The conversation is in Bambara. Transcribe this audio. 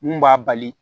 Mun b'a bali